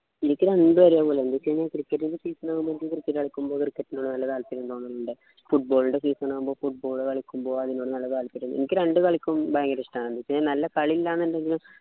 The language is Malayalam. എനിക്ക് രണ്ടും ഒരേപോലെയാ എന്ത് വെച്ച് കഴിഞ്ഞാ cricket ന്നു വെച്ച് കഴിഞ്ഞാ ഞാൻ ഇടക്ക് cricket കളിക്കും cricket നു നല്ല താല്പര്യം തോന്നലിണ്ട് football ൻ്റെ season ആവുമ്പൊ football കളിക്കുമ്പോ അതിനു നല്ല താല്പര്യം എനിക്ക് രണ്ടു കളിക്കും ഭയങ്കര ഇഷ്ടാണ് നല്ല കളി ഇല്ലന്ന് ഉണ്ടെങ്കിലും